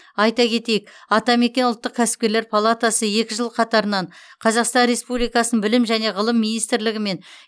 айта кетейік атамекен ұлттық кәсіпкерлер палатасы екі жыл қатарынан қазақстан республикасы білім және ғылым министрлігі мен